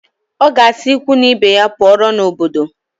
Ọ ga-asị ikwu na ibe ya pụọrọ n'obodo